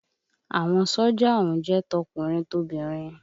Àwọn sójà ọ̀hún jẹ́ tọkùnrin tobìnrin